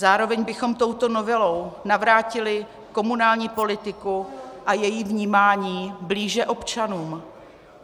Zároveň bychom touto novelou navrátili komunální politiku a její vnímání blíže občanům.